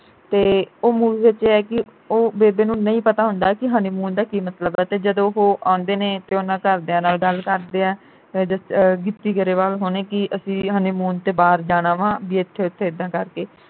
ਤੇ ਉਹ movie ਵਿਚ ਐ ਕਿ ਉਹ ਬੇਬੇ ਨੂੰ ਨਹੀਂ ਪਤਾ ਹੁੰਦਾ ਕਿ honeymoon ਦਾ ਕੀ ਮਤਲਬ ਆ ਤੇ ਜਦੋਂ ਉਹ ਆਂਦੇ ਨੇ ਤੇ ਉਨ੍ਹਾਂ ਘਰਦਿਆਂ ਨਾਲ ਗੱਲ ਕਰਦੇ ਆ ਆਹ ਗਿੱਪੀ ਗਰੇਵਾਲ ਹੁਣੀ ਕਿ ਅਸੀਂ honeymoon ਤੇ ਬਾਹਰ ਜਾਣਾ ਵਾਂ ਬਈ ਇਥੇ ਉਥੇ ਇੱਦਾਂ ਕਰਕੇ